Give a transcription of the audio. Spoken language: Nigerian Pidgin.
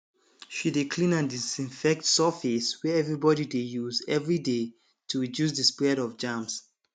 she dey clean and disinfect surface wey everybody dey use every day to reduce the spread of germs